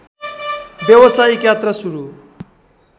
व्यवसायिक यात्रा सुरु